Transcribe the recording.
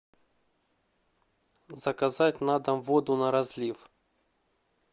заказать на дом воду на разлив